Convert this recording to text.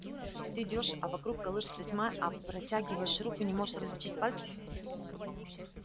и ты идёшь а вокруг колышется тьма а протягиваешь руку не можешь различить пальцев